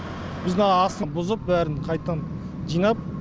біз мынаның астын бұзып бәрін қайттан жинап